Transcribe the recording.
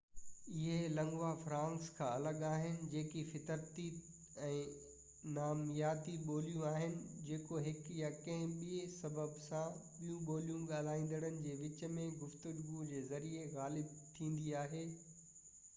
اهي lingua francas کان الڳ آهن جيڪي فطرتي ۽ نامياتي ٻوليون آهن جيڪو هڪ يا ڪنهن ٻي سبب سان ٻيون ٻوليون ڳالهائيندڙن جي وچ م گفتگو جي ذريعي غالب ٿيندي آهي